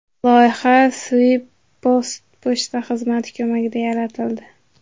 Loyiha Swisspost pochta xizmati ko‘magida yaratildi.